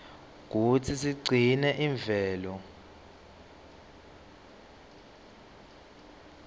kutsi sigcine imvelo